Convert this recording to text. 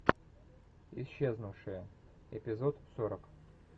исчезнувшая эпизод сорок